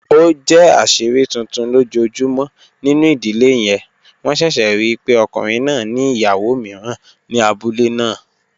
O jẹ aṣiri tuntun lojoojumọ ninu idile yẹn, wọn ṣẹṣẹ rii pe ọkunrin naa ni iyawo miiran ni abule naa.